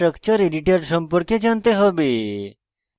gchempaint chemical structure editor সম্পর্কে জানতে হবে